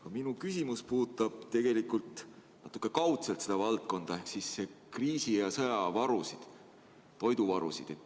Aga minu küsimus puudutab seda valdkonda natuke kaudselt ehk siis kriisi- ja sõjavarusid, toiduvarusid.